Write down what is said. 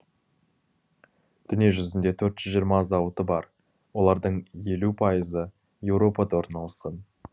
дүниежүзінде төрт жүз жиырма зауыты бар олардың елу пайызы еуропада орналасқан